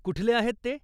कुठले आहेत ते?